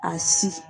A si